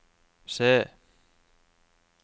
se